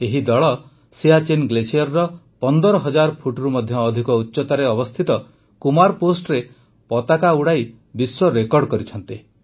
ଏହି ଦଳ ସିଆଚୀନ ଗ୍ଲେସିୟର ୧୫ ହଜାର ଫୁଟରୁ ମଧ୍ୟ ଅଧିକ ଉଚ୍ଚତାରେ ଅବସ୍ଥିତ କୁମାର ପୋଷ୍ଟ୍ରେ ପତାକା ଉଡ଼ାଇ ବିଶ୍ୱ ରେକର୍ଡ କରିଛନ୍ତି